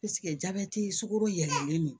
jabɛti ye sugoro yɛlɛlen don